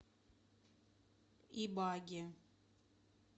ибаге